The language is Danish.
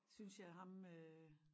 Synes jeg ham øh